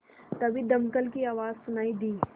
तभी दमकल की आवाज़ सुनाई दी